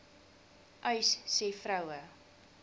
uys sê vroue